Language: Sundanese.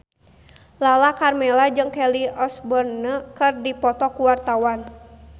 Lala Karmela jeung Kelly Osbourne keur dipoto ku wartawan